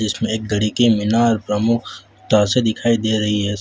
इसमें एक घड़ी के मीनार प्रमुख तार से दिखाई दे रही है।